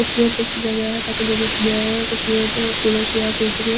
खूबसूरत कुछ जगह है ताकि लोंग इसमे आए और खूबसूरत फूलअर्शिया खरीद सके ।